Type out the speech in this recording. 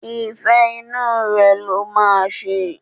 Ìfẹ́ inú rẹ̀ ló máa ṣe.